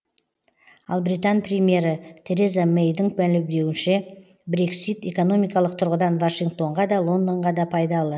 ал британ премьері тереза мэйдің мәлімдеуінше брексит экономикалық тұрғыдан вашингтонға да лондонға да пайдалы